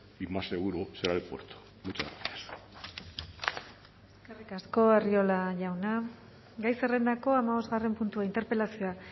y más seguro será el puerto muchas gracias eskerrik asko arriola jauna gai zerrendako hamabosgarren puntua interpelazioa